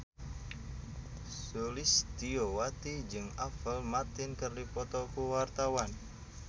Sulistyowati jeung Apple Martin keur dipoto ku wartawan